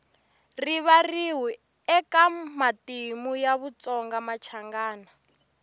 rivariwi eka matimu ya vatsongamachangana